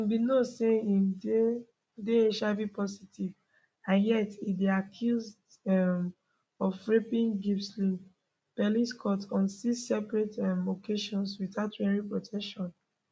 im bin know say im dey dey hivpositive and yet e dey accused um of raping gisle pelicot on six separate um occasions without wearing protection